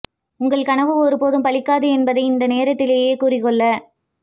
உங்கள் கனவு ஒருபோதும் பலிக்காது என்பதை இந்த நேரத்திலே கூறிக் கொள்ள